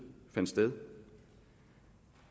fandt sted